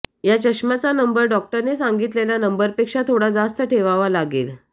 या चष्म्याचा नंबर डॉक्टरने सांगितलेल्या नंबरपेक्षा थोडा जास्त ठेवावा लागेल